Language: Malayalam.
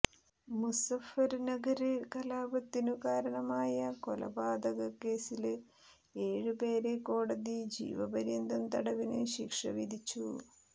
മുസഫര്നഗര് കലാപത്തിനു കാരണമായ കൊലപാതക കേസില് ഏഴ് പേരെ കോടതി ജീവപര്യന്തം തടവിനു ശിക്ഷ വിധിച്ചു